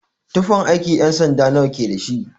Tufan aiki nawa ƴan-sanda ke dashi?